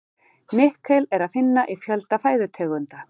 Nikkel er að finna í fjölda fæðutegunda.